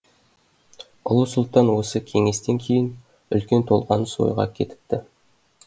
ұлы сұлтан осы кеңестен кейін үлкен толғаныс ойға кетіпті